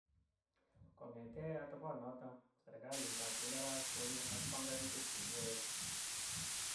Kongete atoponoto, serkalit ab Honduras konyo ak panganutik chekiyae.